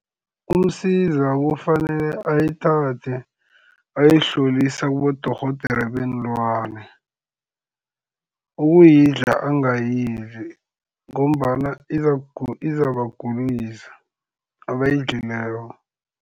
UMsiza kufanele ayithathe ayoyihlolisa kibodorhodere beenlwana. Ukuyidla angayidli, ngombana izabagulisa abayidlileko.